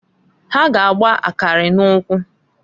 Ha g' agba akari n'ukwu.